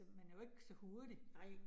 Man er jo ikke så hurtig